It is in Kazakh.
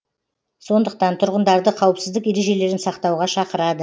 сондықтан тұрғындарды қауіпсіздік ережелерін сақтауға шақырады